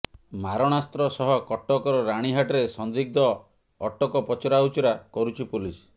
ମାରଣାସ୍ତ୍ର ସହ କଟକର ରାଣୀହାଟରେ ସନ୍ଦିଗ୍ଧ ଅଟକ ପଚରାଉଚରା କରୁଛି ପୋଲିସ୍